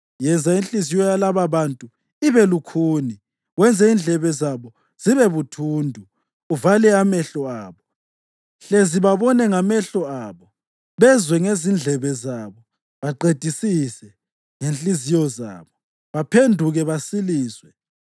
Yenza inhliziyo yalababantu ibe lukhuni; wenze indlebe zabo zibe buthundu, uvale amehlo abo. Hlezi babone ngamehlo abo, bezwe ngezindlebe zabo, baqedisise ngezinhliziyo zabo, baphenduke basiliswe.”